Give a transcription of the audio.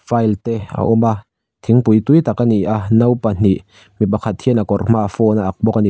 file te a awm a thingpui tui tak a ni a no pahnih mipakhat hian a kawr hma ah phone a ak bawk a ni.